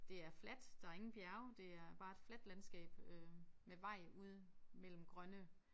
Det er fladt der ingen bjerge det er bare et fladt landskab øh med vej ude mellem grønne